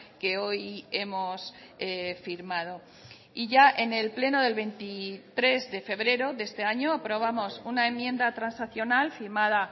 que hoy hemos firmado y ya en el pleno del veintitrés de febrero de este año aprobamos una enmienda transaccional firmada